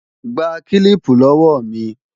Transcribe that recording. Gba kílíìpù lọ́wọ́ mi!